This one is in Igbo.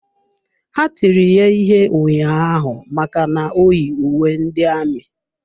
Ha tiri ya ihe ụnyaahụ maka na o yi uwe ndị amị.